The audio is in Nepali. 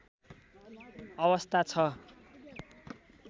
अवस्था छ